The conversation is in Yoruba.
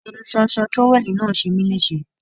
Ẹnu ṣóńṣó trówẹ́ẹ̀lì náà ṣe mí léṣe.